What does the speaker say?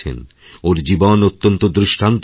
ওঁরজীবন অত্যন্ত দৃষ্টান্তমূলক